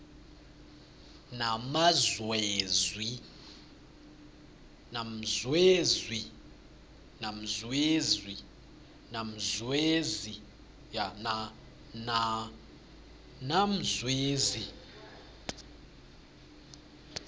namzwezi